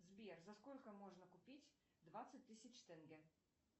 сбер за сколько можно купить двадцать тысяч тенге